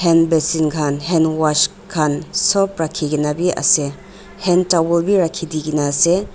handbrashing khan hand wash khan sop rakhi kena bi ase hand towel bi rakhi di kena ase.